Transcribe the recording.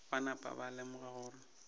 ba napa ba lemoga gore